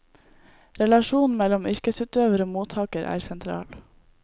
Relasjonen mellom yrkesutøver og mottaker er sentral.